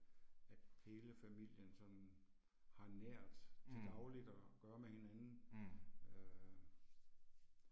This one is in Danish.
At hele familien sådan har nært til dagligt og gøre med hinanden øh